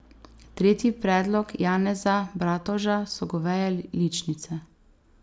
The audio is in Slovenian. Tretji predlog Janeza Bratovža so goveje ličnice.